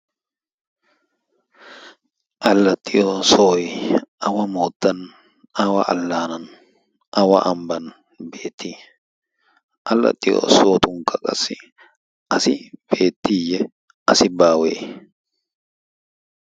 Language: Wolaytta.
allaxxiyo soy awa moottan awa allaanan awa ambban beettii allaxxiyo sohotunkka qassi asi beettiiyye asi baawee